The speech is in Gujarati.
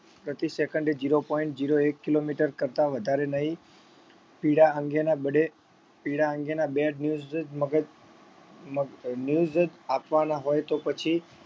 પ્રતિ second zero point zero એક kilometer કરતા વધારે નહીં પીડા અંગેના બડે પીડા અંગેના bad news જ મગજ મગ news જ આપવાના હોય તો પછી